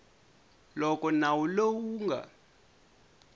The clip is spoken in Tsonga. loko nawu lowu wu nga